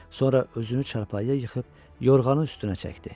Sonra özünü çarpayıya yıxıb yorğanını üstünə çəkdi.